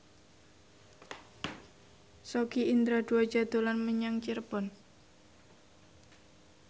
Sogi Indra Duaja dolan menyang Cirebon